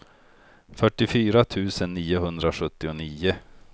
fyrtiofyra tusen niohundrasjuttionio